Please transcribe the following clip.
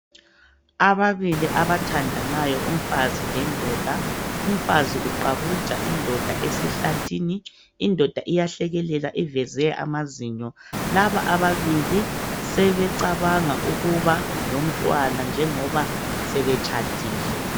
Ababili abathandanayo lomfazi lendoda. Ufazi uqabuja indoda esihlathini, indoda iyahlekelela iveze amazinyo. Laba ababili sebecabanga ukuba lomntwana njengoba sebetshadile.